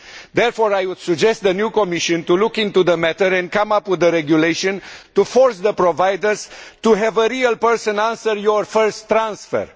Therefore, I would suggest that the new Commission look into the matter and come up with a regulation to force the providers to have a real person answering your first transfer.